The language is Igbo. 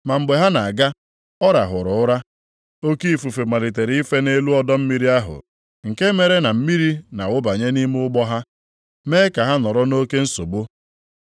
ma mgbe ha na-aga, ọ rahụrụ ụra. Oke ifufe malitere ife nʼelu ọdọ mmiri ahụ, nke mere na mmiri na-awụbanye nʼime ụgbọ ha, mee ka ha nọrọ nʼoke nsogbu.